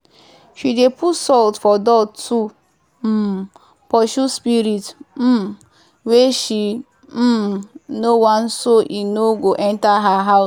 she dey put salt for door to um pursue spirit um wey she um no want so e no go enter her house.